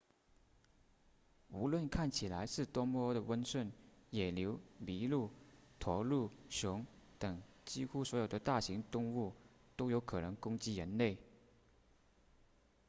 无论看起来是多么的温顺野牛麋鹿驼鹿熊等几乎所有的大型动物都有可能攻击人类